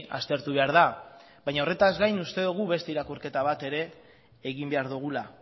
aztertu behar da baina horretaz gain uste dugu beste irakurketa bat ere egin behar dugula